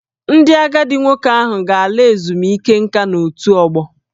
Ndị agadi nwoke ahụ ga-ala ezumike nka n'otù ọgbọ